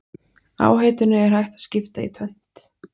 Áhættunni er hægt að skipta í tvennt.